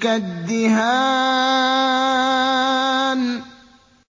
كَالدِّهَانِ